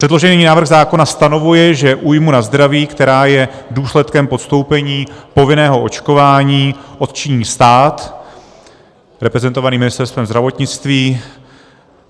Předložený návrh zákona stanovuje, že újmu na zdraví, která je důsledkem podstoupení povinného očkování, odčiní stát reprezentovaný Ministerstvem zdravotnictví.